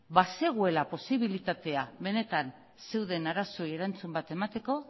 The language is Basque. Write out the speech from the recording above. bazegoela posibilitatea benetan zeuden arazoei erantzun bat emateko